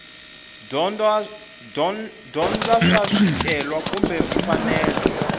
dyondza swa swicelwa kumbe mfanelo